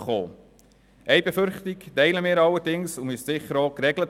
Eine Befürchtung teilen wir allerdings, dort bedürfte es sicher einer Regelung: